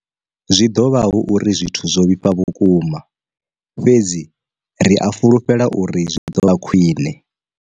Zwi ḓo vha hu uri zwithu zwo vhifha vhukuma, fhedzi ri a fhulufhela uri zwi ḓo vha khwiṋe.